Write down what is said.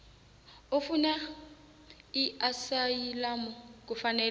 ofuna iasayilamu kufanele